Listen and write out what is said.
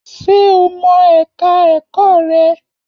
Ṣé o mọ ẹ̀ka ẹ̀kọ́ rẹ̀?